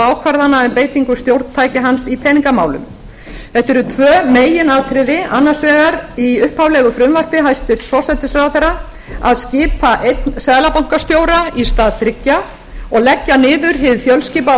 ákvarðana um beitingu stjórntækja hans í peningamálum þetta eru tvö meginatriði annars vegar í upphaflegu frumvarpi hæstvirts forsætisráðherra að skipa einn seðlabankastjóra í stað þriggja og leggja niður hið fjölskipaða